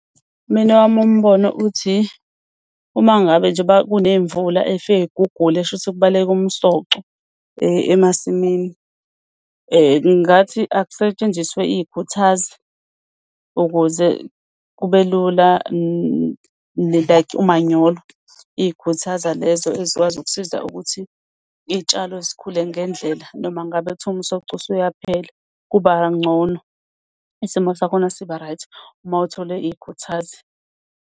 Mina owami umbono uthi, uma ngabe njengoba kuney'mvula ey'fike y'gugule kusho ukuthi kubaleke umsoco emasimini. Ngingathi akusetshenziswe iy'khuthazi, ukuze kube lula like umanyolo. Iy'khuthaza lezo ezikwazi ukusiza ukuthi iy'tshalo zikhule ngendlela noma ngabe kuthiwa umsoco usuyaphela, kuba ngcono isimo sakhona siba-right, uma uthole iy'khuthazi.